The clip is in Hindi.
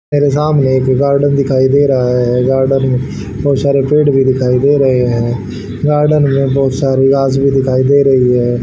मेरे सामने एक गार्डन दिखाई दे रहा है गार्डन में बहुत सारे पेड़ भी दिखाई दे रहे हैं गार्डन में बहुत सारे घास भी दिखाई दे रही हैं।